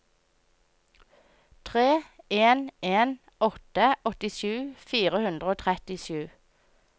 tre en en åtte åttisju fire hundre og trettisju